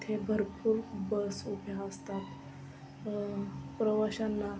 इथे भरपूर बस उभ्या असतात. अ प्रवाशांना--